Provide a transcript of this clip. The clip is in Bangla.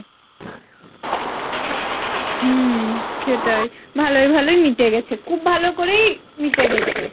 হম সেটাই ভালোয় ভালোয় মিটে গেছে খুব ভালো করেই মিটে গেছে।